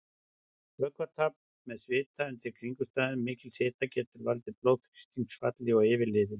Vökvatap með svita undir kringumstæðum mikils hita getur valdið blóðþrýstingsfalli og yfirliði.